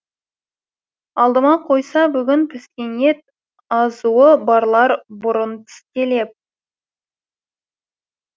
алдыма қойса бүгін піскен ет азуы барлар бұрын тістелеп